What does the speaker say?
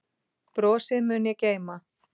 Brosið mun ég geyma.